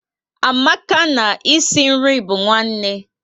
Amaka na e si nri bu nwanne